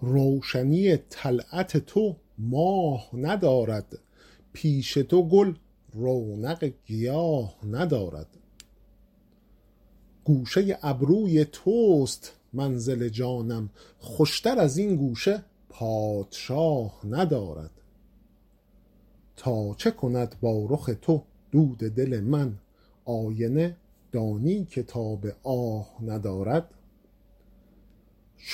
روشنی طلعت تو ماه ندارد پیش تو گل رونق گیاه ندارد گوشه ابروی توست منزل جانم خوشتر از این گوشه پادشاه ندارد تا چه کند با رخ تو دود دل من آینه دانی که تاب آه ندارد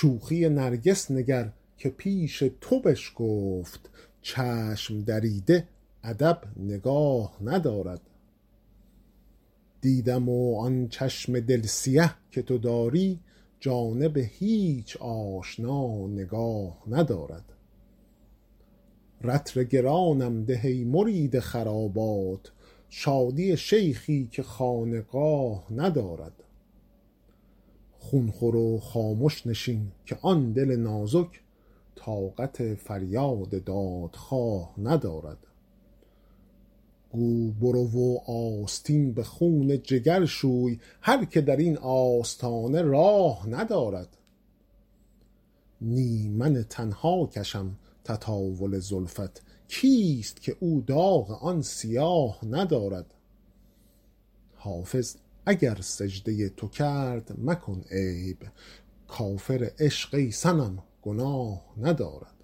شوخی نرگس نگر که پیش تو بشکفت چشم دریده ادب نگاه ندارد دیدم و آن چشم دل سیه که تو داری جانب هیچ آشنا نگاه ندارد رطل گرانم ده ای مرید خرابات شادی شیخی که خانقاه ندارد خون خور و خامش نشین که آن دل نازک طاقت فریاد دادخواه ندارد گو برو و آستین به خون جگر شوی هر که در این آستانه راه ندارد نی من تنها کشم تطاول زلفت کیست که او داغ آن سیاه ندارد حافظ اگر سجده تو کرد مکن عیب کافر عشق ای صنم گناه ندارد